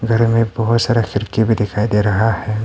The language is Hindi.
घर में बहुत सारा खिड़की में दिखाई दे रहा है।